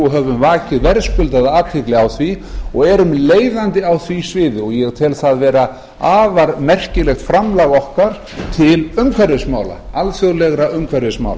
og höfum vakið verðskuldaða athygli á því og erum leiðandi á því sviði ég tel það vera afar merkilegt framlag okkar til umhverfismála alþjóðlegra umhverfismála